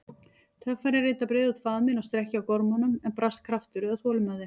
Töffarinn reyndi að breiða út faðminn og strekkja á gormunum, en brast kraftur eða þolinmæði.